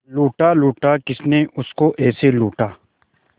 लूटा लूटा किसने उसको ऐसे लूटा